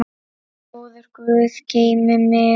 Góður guð geymi þig.